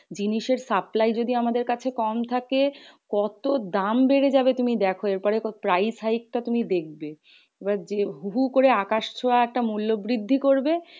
জিনিসের supply যদি আমাদের কাছে কম থাকে, কত দাম বেড়ে যাবে তুমি দ্যাখো? এরপরে তো price hike টা তুমি দেখবে? হু হু একটা আকাশ ছোয়া একটা মূল্য বৃদ্ধি করবে।